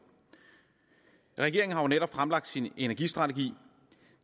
regeringen har netop fremlagt sin energistrategi